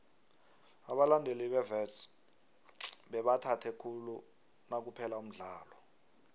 abalandeli bewits bebathabe khulu nakuphela umdlalo